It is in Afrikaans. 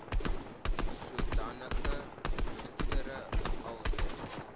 sodanige goedere alreeds